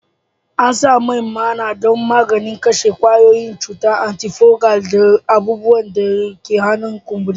An san man maina don maganin kashe kwayoyin cuta, antifungal, da abubuwan da ke hana kumburi